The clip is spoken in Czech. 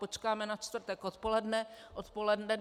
Počkáme na čtvrtek odpoledne, odpoledne.